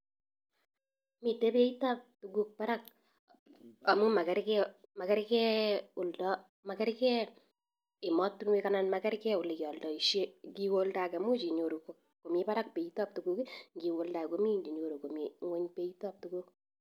Miite beit ab tuguk barak amuu makerke ematunek anan makerke olekealdaishe ngiwe oldange much inyoru komii barak beit ab tuguk ngiwe oldange komii ingony beit ab tuguk